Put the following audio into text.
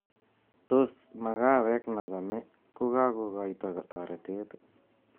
Tos, makawek nachome kokoityo toretet?